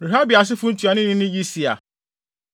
Rehabia asefo ntuanoni ne Yisia.